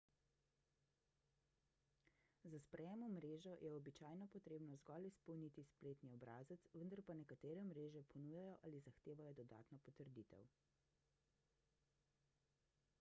za sprejem v mrežo je običajno potrebno zgolj izpolniti spletni obrazec vendar pa nekatere mreže ponujajo ali zahtevajo dodatno potrditev